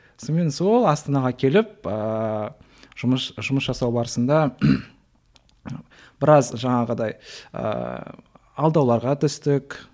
сонымен сол астанаға келіп ыыы жұмыс жасау барысында біраз жаңағыдай ыыы алдауларға түстік